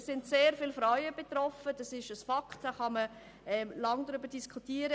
Es sind sehr viele Frauen davon betroffen, das ist ein Fakt, da kann man lange darüber diskutieren.